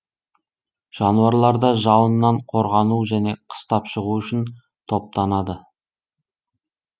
жануарлар да жауыннан қорғану және қыстап шығу үшін топтанады